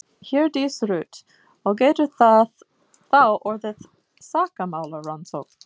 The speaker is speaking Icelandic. Hjördís Rut: Og getur það þá orðið sakamálarannsókn?